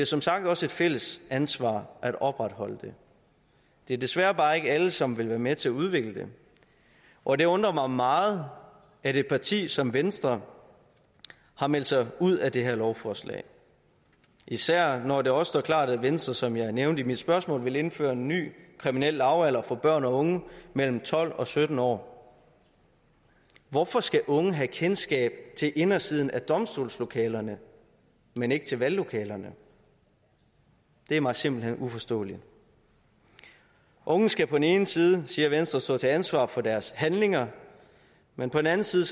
som sagt også et fælles ansvar at opretholde det det er desværre bare ikke alle som vil være med til at udvikle det og det undrer mig meget at et parti som venstre har meldt sig ud af det her lovforslag især når det også står klart at venstre som jeg nævnte i mit spørgsmål vil indføre en ny kriminel lavalder for børn og unge mellem tolv og sytten år hvorfor skal unge have kendskab til indersiden af domstolslokalerne men ikke til valglokalerne det er mig simpelt hen uforståeligt unge skal på den ene side siger venstre stå til ansvar for deres handlinger men på den anden side